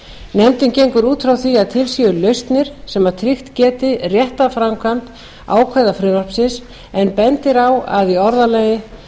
nefndin gengur út frá því að til séu lausnir sem tryggt geti rétta framkvæmd ákvæða frumvarpsins en bendir á að í orðalaginu að